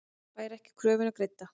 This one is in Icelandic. Fær ekki kröfuna greidda